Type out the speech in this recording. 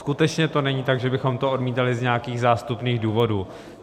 Skutečně to není tak, že bychom to odmítali z nějakých zástupných důvodů.